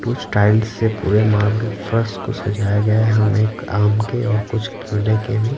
कुछ टाइल्स से पूरे मार्बल फ्रस को सजाया गया है हम एक आम के और कुछ केले के भी--